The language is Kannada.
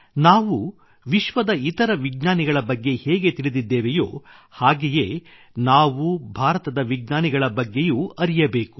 ನಾವು ವಿಶ್ವದ ಇತರ ವಿಜ್ಞಾನಿಗಳ ಬಗ್ಗೆ ಹೇಗೆ ತಿಳಿದಿದ್ದೆವೆಯೋ ಹಾಗೆಯೇ ನಾವು ಭಾರತದ ವಿಜ್ಞಾನಿಗಳ ಬಗ್ಗೆಯೂ ಅರಿಯಬೇಕು